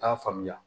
A t'a faamuya